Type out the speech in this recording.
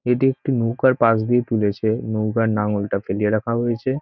এটি একটি নৌকার পাশ দিয়ে তুলেছে নৌকার নাঙ্গলটা ফেলিইয়া রাখা হয়েছে ।